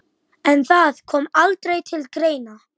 Guðrún átti ekki margra kosta völ sem leikkona á Íslandi.